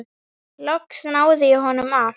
Loks náði ég honum af.